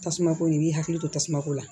Tasumako in i b'i hakili to tasuma ko la